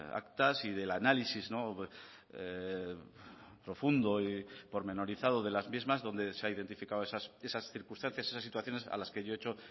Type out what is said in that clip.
actas y del análisis profundo y pormenorizado de las mismas donde se ha identificado esas circunstancias esas situaciones a las que yo he hecho